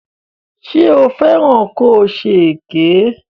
Ṣé o fẹ́ràn ko ṣe èké?